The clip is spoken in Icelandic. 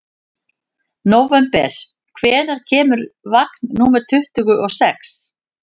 Nóvember, hvenær kemur vagn númer tuttugu og sex?